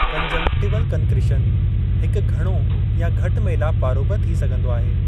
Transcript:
Conjunctival concretion, हिकु घणो या घटि मेलापु वारो बि थी सघिन्दो आहे।